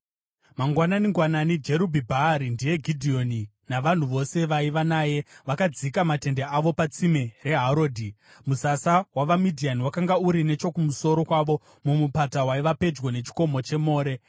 Mangwanani-ngwanani, Jerubhi-Bhaari (ndiye Gidheoni) navanhu vose vaiva naye vakadzika matende avo patsime raHarodhi. Musasa wavaMidhiani wakanga uri nechokumusoro kwavo mumupata waiva pedyo nechikomo cheMore.